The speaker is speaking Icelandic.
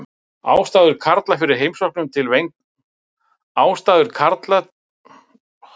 Ástæður karla fyrir heimsóknum til vændiskvenna eru margar.